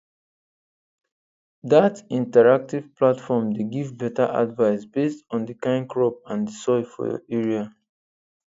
that interactive platform dey give better advice based on the kind crop and the soil for your area